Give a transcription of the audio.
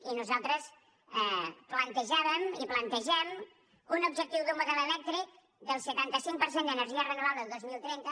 i nosaltres plantejàvem i plantegem un objectiu d’un model elèctric del setanta cinc per cent d’energia renovable el dos mil trenta